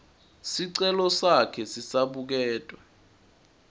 sicelo sakhe sisabuketwa